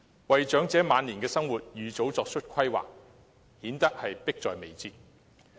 為長者晚年的生活預早作出規劃，顯得迫在眉睫。